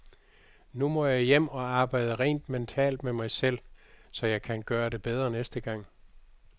Nu må jeg hjem og arbejde rent mentalt med mig selv, så jeg kan gøre det bedre næste gang.